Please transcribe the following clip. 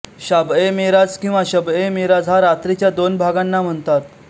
शाबएमेराज किंवा शबएमेराज हा रात्रीच्या दोन भागांना म्हणतात